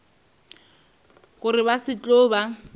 gore ba se tlo ba